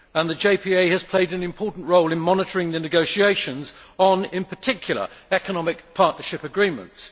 The JPA has played an important role in monitoring the negotiations on, in particular, economic partnership agreements.